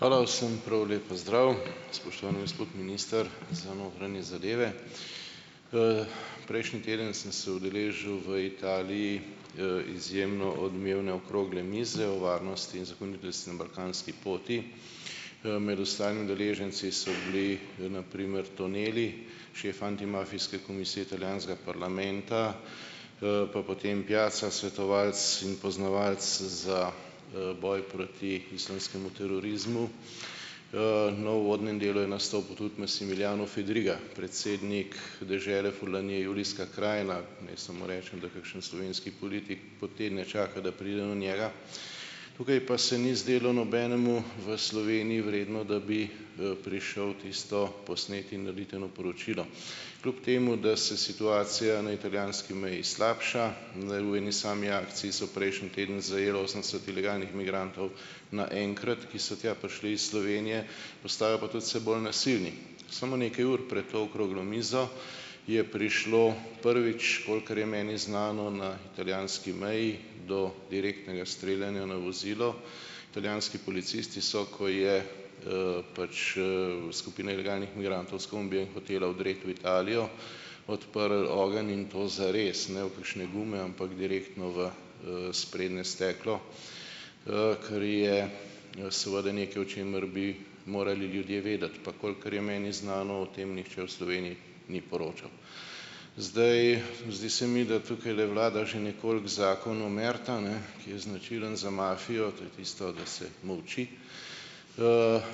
Hvala. Vsem prav lep pozdrav. Spoštovani gospod minister za notranje zadeve. Prejšnji teden sem se udeležil v Italiji, izjemno odmevne okrogle mize o varnosti in zakonitosti na balkanski poti. Med ostali udeleženci so bili na primer Tonelli, šef antimafijske komisije italijanskega parlamenta, pa potem Piazza, svetovalec in poznavalec za, boj proti islamskemu terorizmu. No, v uvodnem delu je nastopil tudi Massimiliano Fedriga, predsednik dežele Furlanije - Julijske krajine. Naj samo rečem, da kakšen slovenski politik po tedne čaka, da pride do njega. Tukaj pa se ni zdelo nobenemu v Sloveniji vredno, da bi, prišel tisto posneti in narediti eno poročilo kljub temu, da se situacija na italijanski meji slabša. V eni sami akciji so prejšnji teden zajeli osemdeset ilegalnih migrantov naenkrat, ki so tja prišli iz Slovenije, postajajo pa tudi vse bolj nasilni. Samo nekaj ur pred to okroglo mizo je prišlo prvič, kolikor je meni znano, na italijanski meji do direktnega streljanja na vozilo. Italijanski policisti so, ko je, pač, skupina ilegalnih migrantov s kombijem hotela vdreti v Italijo, odprli ogenj in to zares, ne v kakšne gume, ampak direktno v, sprednje steklo, kar je seveda nekaj, o čemer bi morali ljudje vedeti. Pa kolikor je meni znano, o tem nihče v Sloveniji ni poročal. Zdaj. Zdi se mi, da tukajle vlada že nekoliko zakon omerta, ne, ki je značilen za mafijo, to je tisto, da se molči,